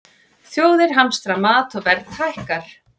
Þjóðir hamstra mat og verð hækkar